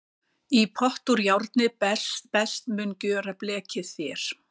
Í pott úr járni best mun gjöra blekið þér.